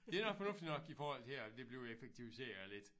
Det er nok fornuftigt nok i forhold til at det bliver effektiviseret lidt